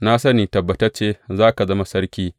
Na sani tabbatacce za ka zama sarki.